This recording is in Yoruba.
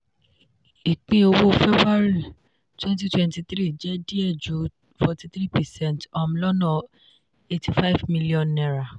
ìpín owó february 2023 jẹ́ díẹ̀ ju 43 percent um lọ́nà ₦85000000.